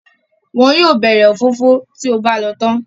Wọn yóò bẹ̀rẹ̀ òfófó tí o bá lọ tán.